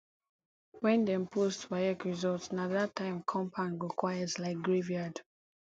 when dem post waec result na that time compound go quiet like graveyard